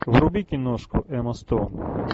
вруби киношку эмма стоун